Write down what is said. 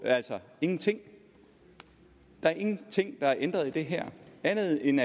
ingenting der er ingenting der er ændret i det her andet end